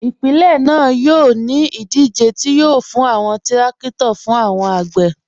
Ipilẹ̀ naa yọ̀ ni idije ti yọ̀ fún awọn tìrakito fún awọn agbè.